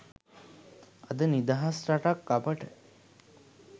අද නිදහස් රටක් අපට